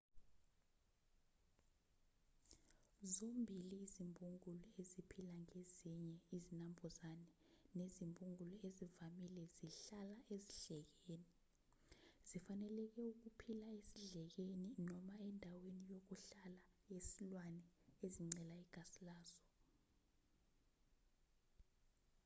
zombili izimbungulu eziphila ngezinye izinambuzane nezimbungulu ezivamile zihlala esidlekeni zifanelekele ukuphila esidlekeni noma endaweni yokuhlala yesilwane ezincela igazi laso